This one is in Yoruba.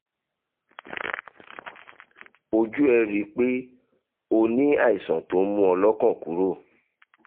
ojú ẹ̀ rí i pé o ní àìsàn tó ń mú ọ́ lọ́kàn kúrò